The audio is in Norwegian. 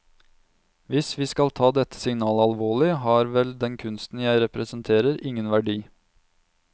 Hvis vi skal ta dette signalet alvorlig, har vel den kunsten jeg representerer ingen verdi.